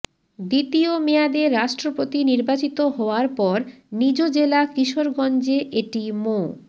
দ্বিতীয় মেয়াদে রাষ্ট্রপতি নির্বাচিত হওয়ার পর নিজ জেলা কিশোরগঞ্জে এটি মো